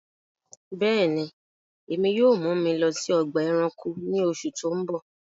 Bẹẹni, ẹ̀mi yóò mú mi lọ sí ọgba ẹ̀ránkò ní òṣù tó ń bọ